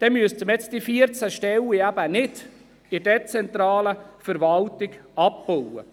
Dann muss man die 14 Stellen in der dezentralen Verwaltung nicht abbauen.